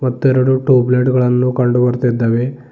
ಮತ್ತೆರಡು tube light ಗಳನ್ನು ಕಂಡು ಬರ್ತೀದ್ದಾವೆ.